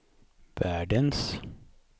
världens